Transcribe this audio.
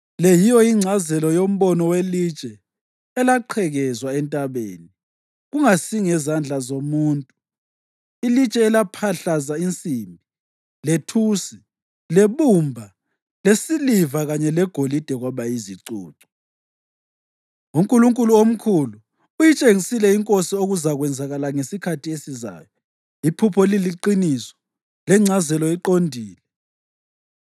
Le yiyo ingcazelo yombono welitshe elaqhekezwa entabeni, kungasingezandla zomuntu, ilitshe elaphahlaza insimbi, lethusi, lebumba, lesiliva kanye legolide kwaba yizicucu. “UNkulunkulu omkhulu uyitshengisile inkosi okuzakwenzeka ngesikhathi esizayo. Iphupho liliqiniso lengcazelo iqondile.”